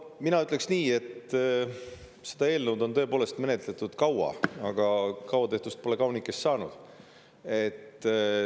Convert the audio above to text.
No mina ütleks nii, et seda eelnõu on tõepoolest menetletud kaua, aga kaua tehtust pole kaunikest saanud.